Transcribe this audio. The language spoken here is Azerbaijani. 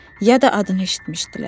ya da adını eşitmişdilər.